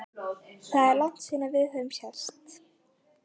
Það er langt síðan við höfum sést